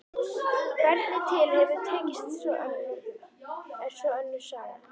Hvernig til hefur tekist er svo önnur saga.